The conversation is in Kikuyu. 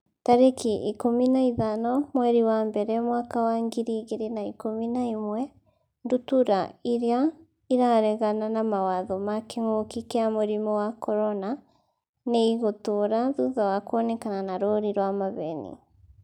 tarĩki ikũmi na ithano mweri wa mbere mwaka wa ngiri igĩrĩ na ikũmi na ĩmwe Ndutura irĩa 'ĩraregana na mawatho ma kĩngũki kia mũrimũ wa CORONA nĩ ĩgũtũra thutha wa kuonekana na rũũri rwa maheeni.